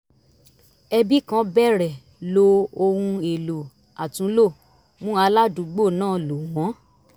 ẹbi kan bẹ̀rẹ̀ lo ohun èlò àtúnlò mú aládùúgbò náà lò wọ́n